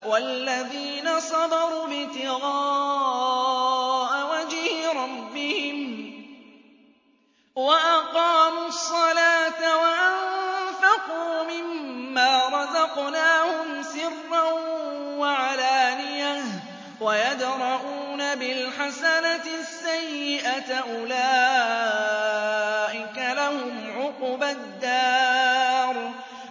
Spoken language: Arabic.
وَالَّذِينَ صَبَرُوا ابْتِغَاءَ وَجْهِ رَبِّهِمْ وَأَقَامُوا الصَّلَاةَ وَأَنفَقُوا مِمَّا رَزَقْنَاهُمْ سِرًّا وَعَلَانِيَةً وَيَدْرَءُونَ بِالْحَسَنَةِ السَّيِّئَةَ أُولَٰئِكَ لَهُمْ عُقْبَى الدَّارِ